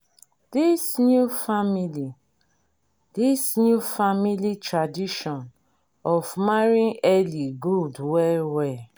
this new family this new family tradition of marrying early good well well